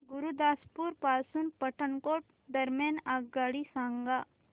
गुरुदासपुर पासून पठाणकोट दरम्यान आगगाडी सांगा